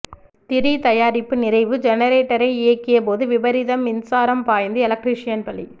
திரி தயாரிப்பு நிறைவு ஜெனரேட்டரை இயக்கியபோது விபரீதம் மின்சாரம் பாய்ந்து எலக்ட்ரீஷியன் பலி